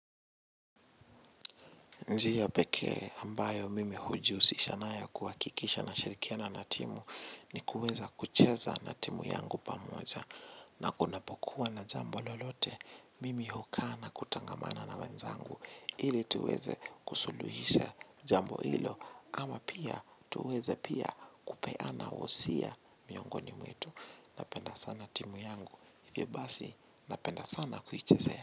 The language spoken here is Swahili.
Njia pekee ambayo mimi hujihusisha nayo kuhakikisha nashirikiana na timu ni kuweza kucheza na timu yangu pamoja na kunapokuwa na jambo lolote mimi hukaa na kutangamana na wenzangu ili tuweze kusuluhisha jambo hilo ama pia tuweze pia kupeana husia miongoni mwetu napenda sana timu yangu hivyo basi napenda sana kuichezea.